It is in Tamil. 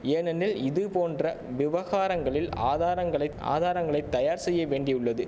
ஏனெனில் இதுபோன்ற விவகாரங்களில் ஆதாரங்களை ஆதாரங்களை தயார் செய்ய வேண்டியுள்ளது